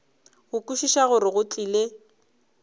go kwešiša gore go tlile